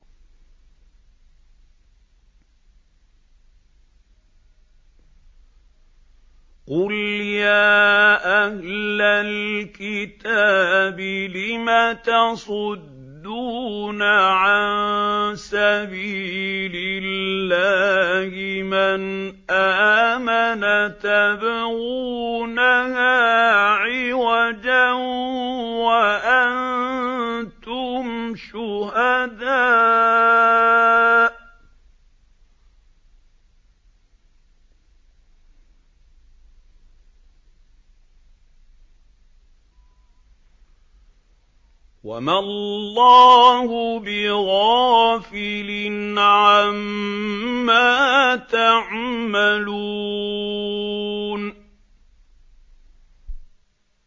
قُلْ يَا أَهْلَ الْكِتَابِ لِمَ تَصُدُّونَ عَن سَبِيلِ اللَّهِ مَنْ آمَنَ تَبْغُونَهَا عِوَجًا وَأَنتُمْ شُهَدَاءُ ۗ وَمَا اللَّهُ بِغَافِلٍ عَمَّا تَعْمَلُونَ